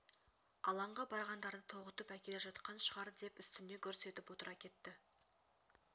алаңға барғандарды тоғытып әкеле жатқан шығар деп үстіне гүрс етіп отыра кетті